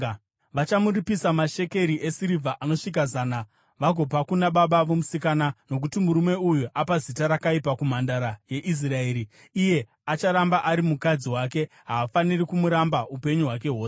Vachamuripisa mashekeri esirivha anosvika zana vagopa kuna baba vomusikana, nokuti murume uyu apa zita rakaipa kumhandara yeIsraeri. Iye acharamba ari mukadzi wake; haafaniri kumuramba upenyu hwake hwose.